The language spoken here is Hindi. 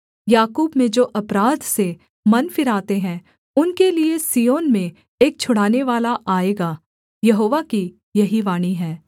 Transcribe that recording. याकूब में जो अपराध से मन फिराते हैं उनके लिये सिय्योन में एक छुड़ानेवाला आएगा यहोवा की यही वाणी है